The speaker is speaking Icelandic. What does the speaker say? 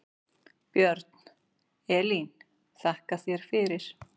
Björn: Elín þakka þér fyrir.